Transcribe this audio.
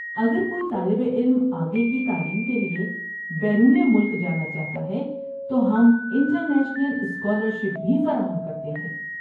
اگر کوئی طالب علم آگے کی تعلیم کے لیے بیرون ملک جانا چاہتا ہے تو ہم انٹرنیشنل اسکالرشپ بھی فراہم کرتے ہیں۔